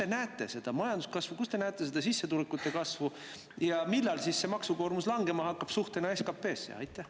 Kus te näete seda majanduskasvu, kus te näete seda sissetulekute kasvu ja millal hakkab maksukoormus langema suhtena SKP-sse?